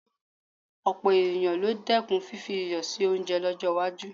Ọ̀pọ̀ ènìyàn ni dẹ́kun fífi iyọ̀ sí oúnjẹ lọ́jọ́ iwájú